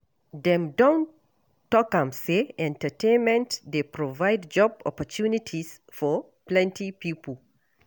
Dem don talk am sey entertainment dey provide job opportunities for plenty pipo